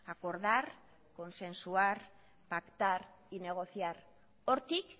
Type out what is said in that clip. acordar consensuar pactar y negociar hortik